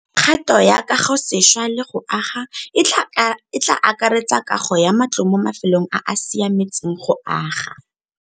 Kgato ya kagosešwa le go aga e tla akaretsa kago ya matlo mo mafelong a a siametseng go aga.